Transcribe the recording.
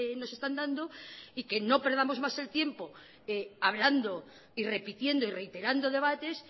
nos están dando y que no perdamos más el tiempo hablando y repitiendo y reiterando debates